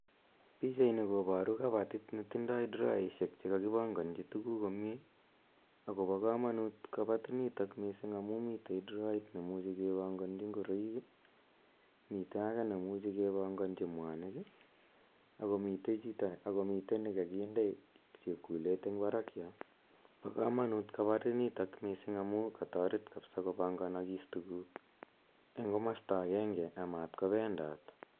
Pichaini koparu kapatit ne tindai drawainik che kakipanganchi tuguuk komye. Akopa kamanut kapatinitok missing' amu mitei drawait ne muchi kepanganchi ngoroik i, mitei age ne muchi kepanganchi mwanik ako mitei ne kakinde chepkulet eng' parak yo. Pa kamanut kapatinitok missing' amu kataret kapsa kopanganakis tuguuk eng' komasta agenge a mat ko pendat.